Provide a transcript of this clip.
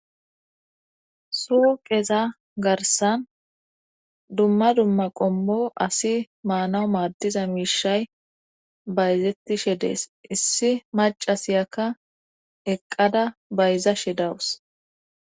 suu qeza garsan dumma dumma qommo asi maanawu maaddiza miishay bayzettishe dees issi macasiyakka eqqada bayzashe dawus